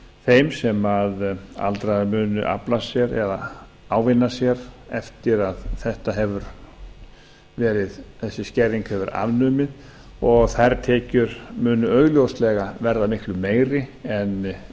þeim sem aldraðir munu afla sér eða ávinna sér eftir að þessi skerðing hefur verið afnumin og þær tekjur munu augljóslega verða miklu meiri en